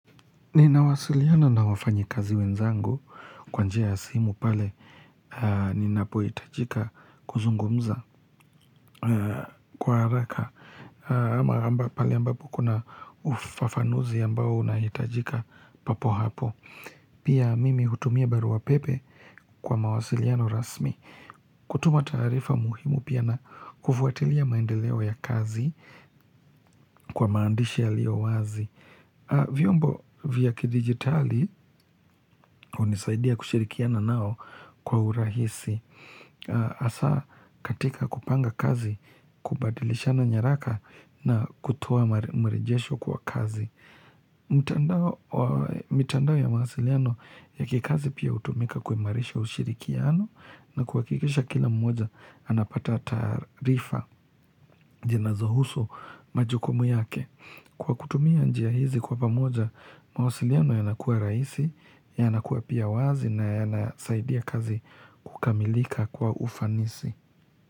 Ninawasiliana na wafanyi kazi wenzangu kwa njia ya simu pale ninapo hitajika kuzungumza kwa haraka. Ama pale ambapo kuna ufafanuzi ambao unahitajika papo hapo. Pia mimi hutumia barua pepe kwa mawasiliano rasmi. Kutuma taarifa muhimu pia na kufuatilia maendeleo ya kazi kwa maandishi yaliyo wazi. Vyombo vya kidigitali hunisaidia kushirikiana nao kwa urahisi. Asa katika kupanga kazi, kubadilishana nyaraka na kutoa mrejesho kwa kazi. Mitandao ya mawasiliano ya kikazi pia hutumika kuimarisha ushirikiano na kuhakikisha kila mmoja anapata taarifa zinazohusu majukumu yake. Kwa kutumia njia hizi kwa pamoja mawasiliano yanakua rahisi, yanakua pia wazi na yanasaidia kazi kukamilika kwa ufanisi.